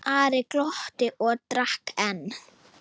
Ari glotti og drakk enn.